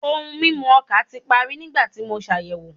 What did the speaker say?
Ohun mimu oka ti pari nigbati mo ṣayẹwo